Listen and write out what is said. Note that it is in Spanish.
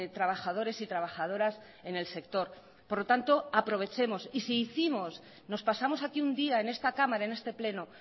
trabajadores y trabajadoras en el sector por lo tanto aprovechemos y si hicimos nos pasamos aquí un día en esta cámara en este pleno